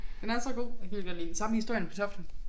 Den er så god jeg kan vildt godt lide den. Samme med Historien om Kartoflen